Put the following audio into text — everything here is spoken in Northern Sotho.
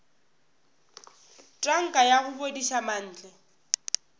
tanka ya go bodiša mantle